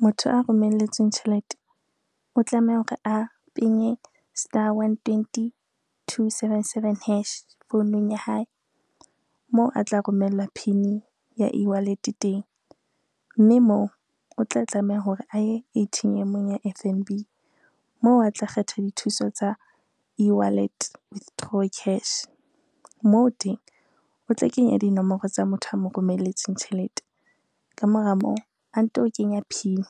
Motho a romelletsweng tjhelete o tlameha hore a penye star onetwenty, two, seven, seven hash founung ya hae, moo a tla romella PIN ya e-wallet teng, mme moo o tla tlameha hore a ye A_T_M-ong ya F_N_B moo a tla kgetha dithuso tsa ewallet withdraw cash. Moo teng o tla kenya dinomoro tsa motho a mo romelletseng tjhelete ka mora moo, a nto o kenya PIN